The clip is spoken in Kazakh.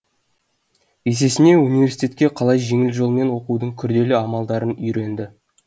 есесіне университетке қалай жеңіл жолмен оқудың күрделі амалдарын үйренді